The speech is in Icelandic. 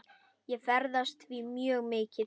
Ég ferðast því mjög mikið.